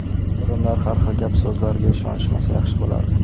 Odamlar har xil gap-so‘zlarga ishonishmasa yaxshi bo‘lardi.